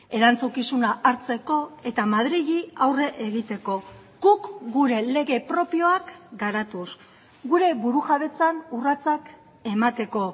erantzukizuna hartzeko eta madrili aurre egiteko guk gure lege propioak garatuz gure burujabetzan urratsak emateko